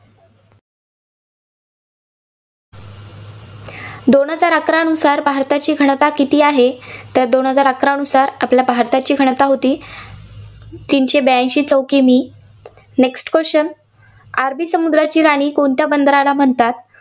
दोन हजार अकरानुसार भारताची घनता किती आहे? तर दोन हजार अकरानुसार आपल्या भारताची घनता होती तिनशे ब्याऐंशी चौ. की. मी. next question अरबी समुद्राची राणी कोणत्या बंदरला म्हणतात?